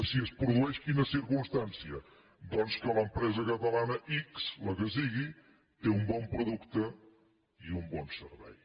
si es produeix quina circumstància doncs que l’empresa catalana ics la que sigui té un bon producte i un bon servei